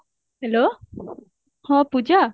hello ହଁ ପୂଜା